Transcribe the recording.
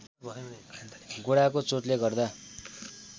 गोडाको चोटले गर्दा